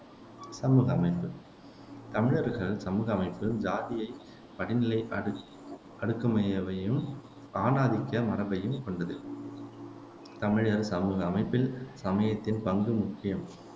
சமூக அமைப்பு தமிழர்கள் சமூக அமைப்பு சாதிய படிநிலை அடி அடுக்கமையவையும் ஆண் ஆதிக்க மரபையும் கொண்டது தமிழர் சமூக அமைப்பில் சமயத்தின் பங்கும் முக்கியம்